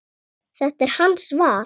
Þetta er hans val.